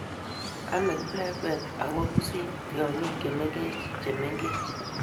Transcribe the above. Ame kiplengwet ago pusiit tyongik chemengech chemengech